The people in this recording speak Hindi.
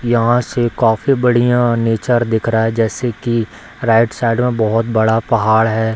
यहां से काफी बढ़िया नेचर दिख रहा है जैसे कि राइट साइड में बहुत बड़ा पहाड़ है।